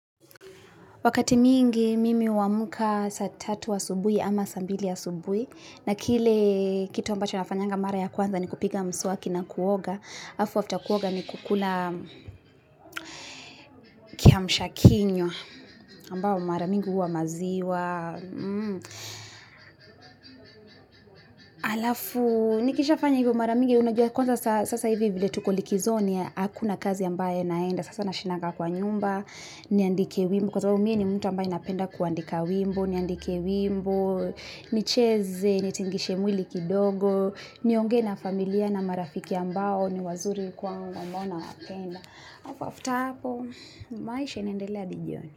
Wakati mingi mimi huamka saa tatu asubuhi ama saa mbili asubuhi na kile kitu ambacho na fanyanga mara ya kwanza nikupiga mswa kina kuoga Afu alafu kuoga niku kula kiamshakinywa ambao mara mingi huwa maziwa Alafu Kisha fanyanga mara mingi huwa maziwa Kusasa hivyo wale tuko likizoni akuna kazi ambaye naenda Sasa nashindaga kwa nyumba, niandike wimbo Kusasa umie ni muntamba ena penda kuandika wimbo Nicheze, ni tingishe mwili kidogo ni ongee na familia na marafiki ambao ni wazuri kwa umamona akenda Afu afu tapo, maisha nendeleahivyoni.